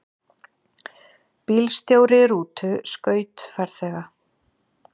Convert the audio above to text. Bílstjóri rútu skaut farþega